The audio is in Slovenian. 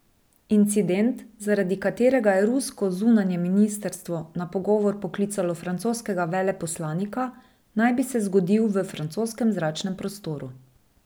Incident, zaradi katerega je rusko zunanje ministrstvo na pogovor poklicalo francoskega veleposlanika, naj bi se zgodil v francoskem zračnem prostoru.